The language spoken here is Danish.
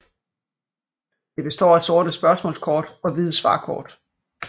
Det består af sorte spørgsmålskort og hvide svarkort